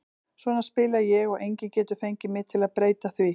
Svona spila ég og enginn getur fengið mig til að breyta því.